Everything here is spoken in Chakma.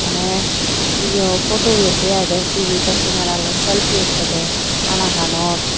mane yo photo udette aai te pije bek kemera loi photo uttede anaganot.